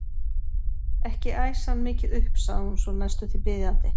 Ekki æsa hann mikið upp sagði hún svo næstum því biðjandi.